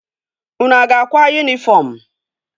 Unu a ga-akwa yunifọm?